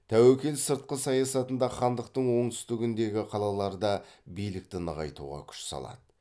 тәуекел сыртқы саясатында хандықтың оңтүстігіндегі қалаларда билікті нығайтуға күш салады